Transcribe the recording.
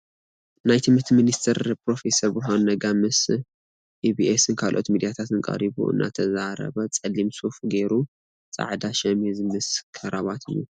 ናይ ትምህርቲ ሚኒስቴር ፕሮፌሰር ብርሃኑ ነጋ ምስ ኢቢኤስን ካልኦት ሚድያታት ቀሪቡ እናተዛረበ ፀሊም ሱፍ ጌሩ ፀዓዳ ሸሚዝ ምስ ከራባት እዩ ።